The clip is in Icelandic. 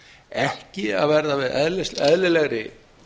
ekki að verða við eðlilegri